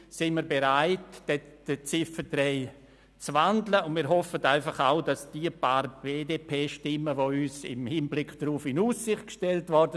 Sie haben die Ziffer 1 der Motion mit 99 Ja- gegen 42 Nein-Stimmen bei 0 Enthaltungen angenommen.